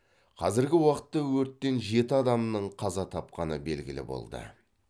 қазіргі уақытта өрттен жеті адамның қаза тапқаны белгілі болды